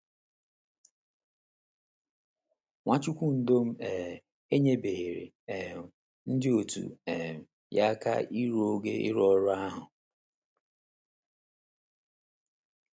Nwachukwundọm um enyebeghịrị um ndị òtù um ya aka iru ogo ịrụ ọrụ ahụ.